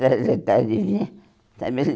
Trajetória de vida?